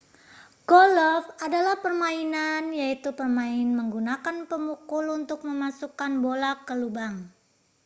golf adalah permainan yaitu pemain menggunakan pemukul untuk memasukkan bola ke lubang